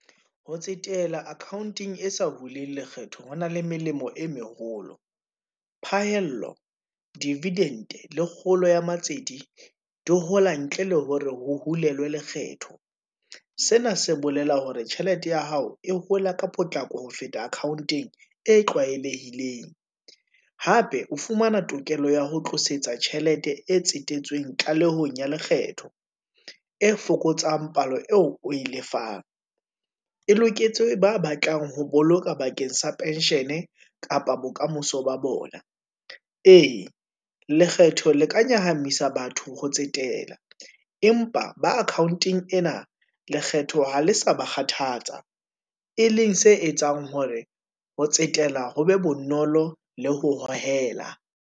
Ho tsetela account-eng e sa huling lekgetho ho na le melemo e meholo, phahello, divident-e, le kgolo ya matsete, di hola ntle le hore ho hulelwe lekgetho. Sena se bolela hore tjhelete ya hao e hola ka potlako ho feta account-eng e tlwaelehileng. Hape o fumana tokelo ya ho tlosetsa tjhelete e tsetetsweng tlalehong ya lekgetho, e fokotsang palo eo, oe lefang, e loketse ba batlang ho boloka bakeng sa pension-e, kapa bokamoso ba bona. Ee, lekgetho le ka nyahame isa batho ho tsetela, empa ba account-eng ena, lekgetho ha le sa ba kgathatsa, e leng se etsang hore, ho tsetela ho be bonolo le ho hohela.